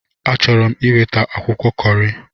Achọrọ m iweta akwụkwọ Kọri.